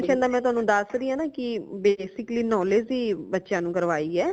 nail extension ਦਾ ਮੈ ਤੁਆਨੂ ਦਸ ਰੀ ਹਾਂ ਨਾ ਕਿ basically knowledge ਹੀ ਬੱਚਿਆਂ ਨੂ ਕਰਵਾਈ ਹੈ